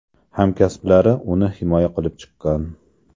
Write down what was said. Hamkasblari uni himoya qilib chiqqan.